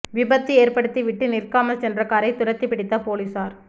விபத்து ஏற்படுத்தி விட்டு நிற்காமல் சென்ற காரை துரத்தி பிடித்த போலீஸாா்